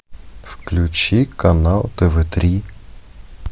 включи канал тв три